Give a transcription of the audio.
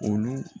Olu